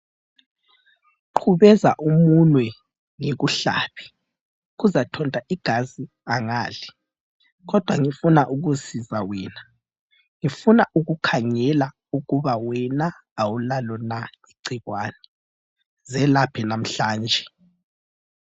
Qhubeza umunwe ngikuhlabe ,kuzathonta igazi angali kodwa ngifuna ukusiza wena ,ngifuna ukukhangela ukuba wena awulalo na igcikwane, zelaphe namhlanje.